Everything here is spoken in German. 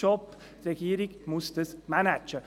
Die Regierung muss das managen.